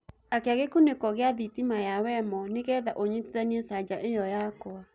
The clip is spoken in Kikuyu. akĩa gikuniko gia thitima ya wemo nĩgetha unyitithanie chaja io yakwa